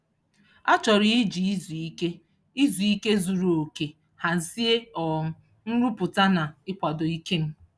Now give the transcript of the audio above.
A chọrọ iji izu ike izu ike zuru oke hazie um nrụpụta na ịkwado ike m.